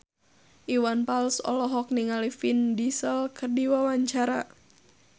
Iwan Fals olohok ningali Vin Diesel keur diwawancara